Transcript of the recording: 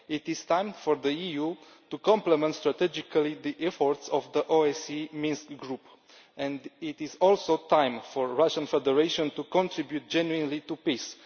It is time for the EU to complement strategically the efforts of the OSCE Minsk Group, and it is also time for the Russian Federation to contribute genuinely to peace.